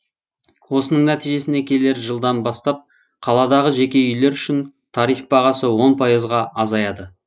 осының нәтижесінде келер жылдан бастап қаладағы жеке үйлер үшін тариф бағасы он пайызға азаяды